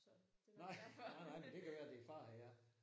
Nej nej nej men det kan være din far han er